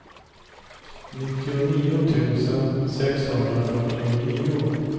nittionio tusen sexhundrafyrtionio